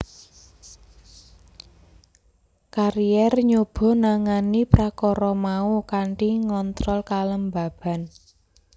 Carrier nyoba nangani prakara mau kanthi ngontrol kelembaban